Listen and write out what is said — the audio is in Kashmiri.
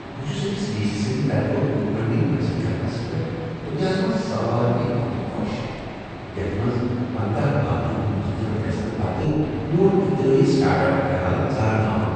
بہٕ چھُس أکس وی سی سٕنٛد طرفہٕ فنڈنگ حٲصل کرنس پیٹھ دنیاہس منٛز ساروی کھوتہٕ خۄش، یتھ منٛز پندہَ باقین ہنٛد مسترد گژھنہٕ پتہٕ میون اختراعی اسٹارٹ اپ خیال ژارنہٕ آو